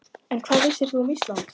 En hvað vissi hún um Ísland?